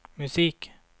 musik